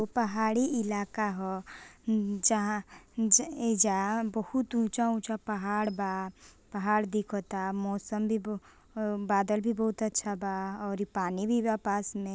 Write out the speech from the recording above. उ पहाड़ी इलाका ह जहां इ जा बहुत ऊंचा-ऊंचा पहाड़ बा पहाड़ दिखाता मौसम भी ब अ बादल भी बहुत अच्छा बा अ इ पानी भी बा पास में।